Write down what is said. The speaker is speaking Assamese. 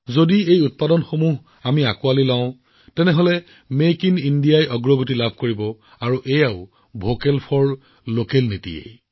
যদি আমি সেই সামগ্ৰীসমূহ গ্ৰহণ কৰো তেন্তে মেক ইন ইণ্ডিয়াৰ প্ৰচাৰ হয় আৰু লগতে আমি ভোকেল ফৰ লোকেল হব লাগিব